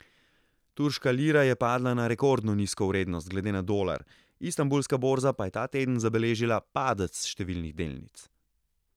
Turška lira je padla na rekordno nizko vrednost glede na dolar, istanbulska borza pa je ta teden zabeležila padec številnih delnic.